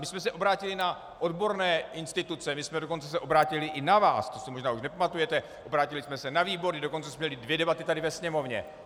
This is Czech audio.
My jsme se obrátili na odborné instituce, my jsme se dokonce obrátili i na vás, to si možná už nepamatujete, obrátili jsme se na výbory, dokonce jsme měli dvě debaty tady ve Sněmovně.